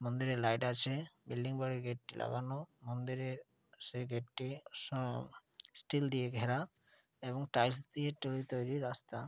মন্দিরে লাইট আছে বিল্ডিং বাড়ির গেট টি লাগানো মন্দিরের সেই গেট টি সাম স্টীল দিয়ে ঘেরা এবং টাইলস দিয়ে টুই তৈরি রাস্তা।